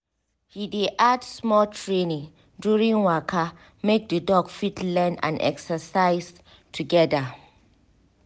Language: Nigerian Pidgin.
he dey add small training during waka make the dog fit learn and exercise together